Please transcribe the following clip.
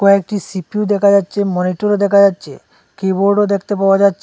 কয়েকটি সি_পি_ইউ দেখা যাচ্ছে মনিটরও দেখা যাচ্ছে কিবোর্ডও দেখতে পাওয়া যাছ--